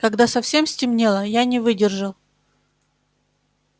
когда совсем стемнело я не выдержал